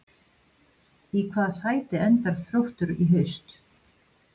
Í hvaða sæti endar Þróttur í haust?